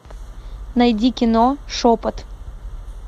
найди кино шепот